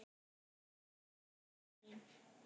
Takk fyrir öll árin.